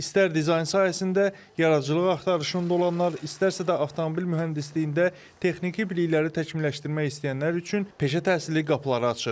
İstər dizayn sahəsində yaradıcılıq axtarışında olanlar, istərsə də avtomobil mühəndisliyində texniki bilikləri təkmilləşdirmək istəyənlər üçün peşə təhsili qapıları açır.